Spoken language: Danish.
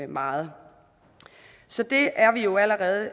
meget så det er vi jo allerede